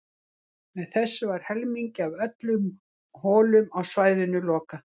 Með þessu var um helmingi af öllum holum á svæðinu lokað.